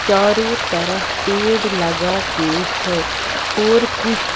चारों तरफ पेड़ लगा के है और कुछ --